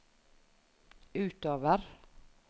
utover